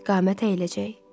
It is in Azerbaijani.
Qamət əyiləcək.